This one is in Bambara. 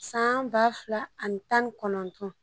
San ba fila ani tan ni kɔnɔntɔn